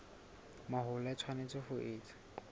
mahola e tshwanetse ho etswa